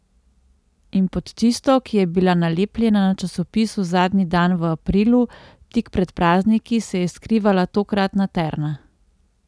In pod tisto, ki je bila nalepljena na časopisu zadnji dan v aprilu, tik pred prazniki, se je skrivala tokratna Terna.